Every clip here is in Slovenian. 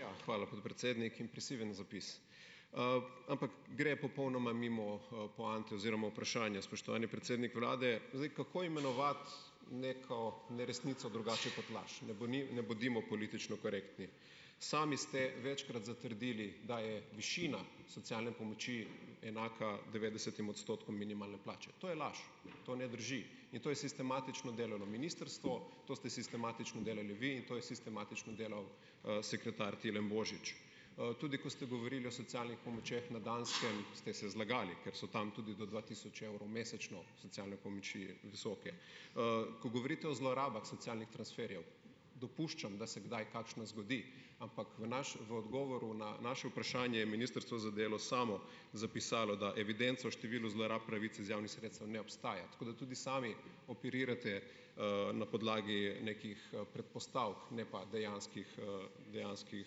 Ja, hvala, podpredsednik. Impresiven zapis. Ampak gre popolnoma mimo, poante oziroma vprašanja. Spoštovani predsednik vlade, zdaj, kako imenovati neko neresnico drugače kot laž? Ne ne bodimo politično korektni. Sami ste večkrat zatrdili, da je višina socialne pomoči enaka devetdesetim odstotkom minimalne plače, to je laž, to ne drži in to je sistematično delo na Ministrstvo, to ste sistematično delali vi in to je sistematično delal, sekretar Tilen Božič. Tudi ko ste govorili o socialnih pomočeh na Danskem, ste se zlagali, ker so tam tudi do dva tisoč evrov mesečno socialne pomoči visoke. Ko govorite o zlorabah socialnih transferjev, dopuščam, da se kdaj kakšna zgodi, ampak v v odgovoru na naše vprašanje je Ministrstvo za delo samo zapisalo, da evidenca o številu zlorab pravic iz javnih sredstev ne obstaja, tako da tudi sami operirate, na podlagi nekih, predpostavk ne pa dejanskih, dejanskih,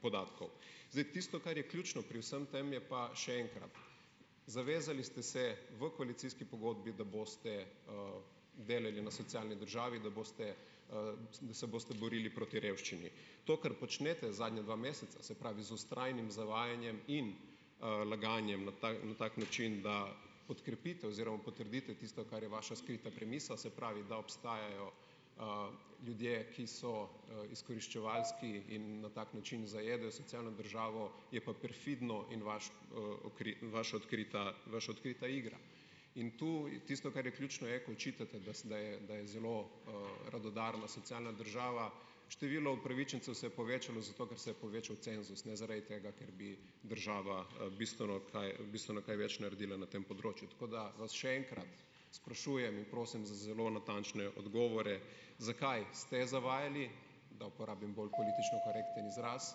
podatkov. Zdaj, tisto, kar je ključno pri vsem tem, je pa še enkrat. Zavezali ste se v koalicijski pogodbi, da boste, delali na socialni državi, da boste, se boste borili proti revščini. To, kar počnete zadnja dva meseca, se pravi z vztrajnim zavajanjem in, laganjem na v tak način, da podkrepite oziroma potrdite tisto, kar je vaša skrita premisa, se pravi, da obstajajo, ljudje, ki so, izkoriščevalski in na tak način zajedajo socialno državo, je pa perfidno in vaš, vaš odkrita vaš odkrita igra. In tu tisto, kar je ključno, je, ko očitate, da ste, da je zelo, radodarna socialna država, število upravičencev se je povečalo zato, ker se je povečal cenzus, ne zaradi tega, ker bi država, bistveno kaj bistveno kaj več naredila na tem področju. Tako, da vas še enkrat sprašujem in prosim za zelo natančne odgovore, zakaj ste zavajali, da uporabim bolj politično korekten izraz,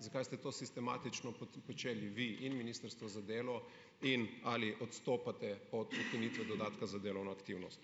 zakaj ste to sistematično počeli vi in Ministrstvo za delo, in ali odstopate od ukinitve dodatka za delovno aktivnost?